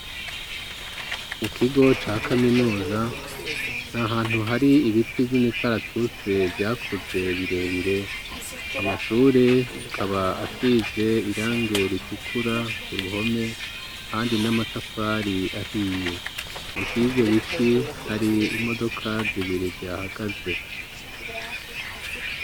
Mu kigo ca kaminuza n'ahantu hari ibiti by'imikaratuse vyakuze birebire amashure akaba asize irange ritukura ku ruhome handi n'amatafari ahiye usi y'ibyo biti hari imodoka zibiri zihahagaze.